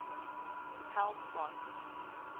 health gods